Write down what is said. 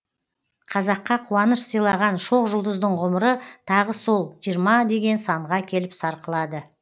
қазаққа қуаныш сыйлаған шоқ жұлдыздың ғұмыры тағы сол жиырма деген санға келіп сарқылады